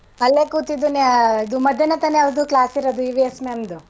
ಅಲ್ಲೇ ಕೂತಿದ್ದು ನ~ ಇದು ಮಧ್ಯಾನ ತಾನೇ ಅವ್ರ್ದೂ class ಇರದು EVS ma'am ದು?